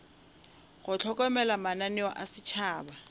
go hlokomela mananeo a setšhaba